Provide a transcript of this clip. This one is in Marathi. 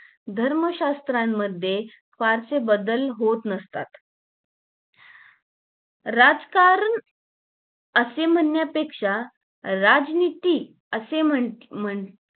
धर्मशास्त्रा मध्ये फारसे बदल होत नसतात राजकारण असे म्हणण्यापेक्षा राजनीती असे म्हण म्हंटले